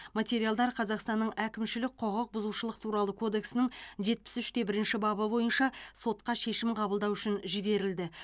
материалдар қазақстанның әкімшілік құқық бұзушылық туралы кодексінің жетпіс үште бірінші бабы бойынша сотқа шешім қабылдау үшін жіберілді